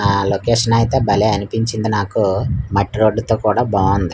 ఆ లోకేషన్ అయితే భలే అనిపించింది నాకు మట్టి రోడ్డు తో కూడా బాగుంది.